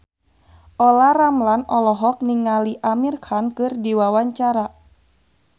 Olla Ramlan olohok ningali Amir Khan keur diwawancara